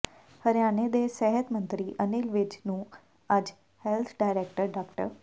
ਹਰਿਆਣੇ ਦੇ ਸਿਹਤ ਮੰਤਰੀ ਅਨਿਲ ਵਿਜ ਨੂੰ ਅੱਜ ਹੈਲਥ ਡਾਇਰੈਕਟਰ ਡਾ